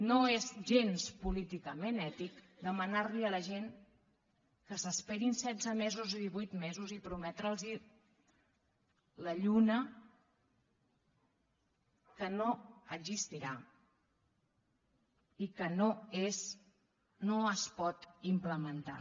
no és gens políticament ètic demanar li a la gent que s’esperin setze mesos o divuit mesos i prometre’ls la lluna que no existirà i que no es pot implementar